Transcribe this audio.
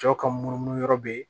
Cɛw ka munumunu yɔrɔ be ye